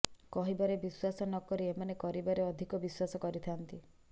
କହିବାରେ ବିଶ୍ୱାସ ନକରି ଏମାନେ କରିବାରେ ଅଧିକ ବିଶ୍ୱାସ କରିଥାନ୍ତି